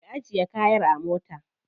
Ki ajiye kayan a mota.